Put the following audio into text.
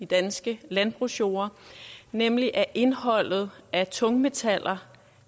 danske landbrugsjorder nemlig at indholdet af tungmetaller